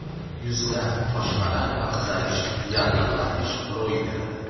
Yuzda toshmalar va qizarish, yallig‘lanish ro‘y beradi.